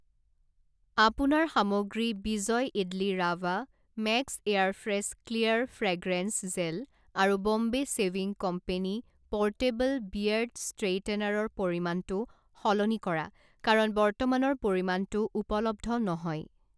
আপোনাৰ সামগ্ৰী Vijay idli rava, max air fresh clear fragrance gel আৰু Bombay shaving company portable beard ষ্ট্ৰেইটেনাৰৰ পৰিমাণটো সলনি কৰা কাৰণ বৰ্তমানৰ পৰিমাণটো উপলব্ধ নহয়।